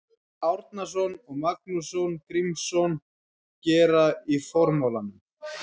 Árnason og Magnús Grímsson gera í formálanum.